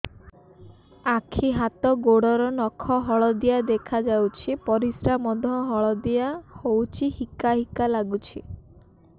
ଆଖି ହାତ ଗୋଡ଼ର ନଖ ହଳଦିଆ ଦେଖା ଯାଉଛି ପରିସ୍ରା ମଧ୍ୟ ହଳଦିଆ ହଉଛି ହିକା ହିକା ଲାଗୁଛି